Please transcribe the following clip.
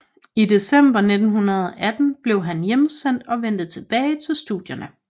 I december 1918 blev han hjemsendt og vendte tilbage til studierne